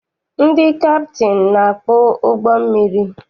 Ndị kaptịnị na-akpụ ụgbọ mmiri.